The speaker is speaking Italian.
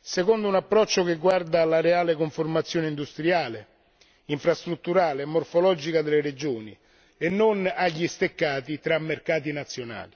secondo un approccio che guarda alla reale conformazione industriale, infrastrutturale e morfologica delle regioni, e non agli steccati tra mercati nazionali.